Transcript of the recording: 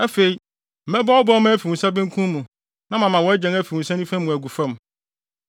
Afei, mɛbɔ wo bɛmma afi wo nsa benkum mu na mama wʼagyan afi wo nsa nifa mu agu fam.